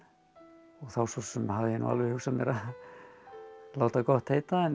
og þá svo sem hafði ég nú alveg hugsað mér að láta gott heita en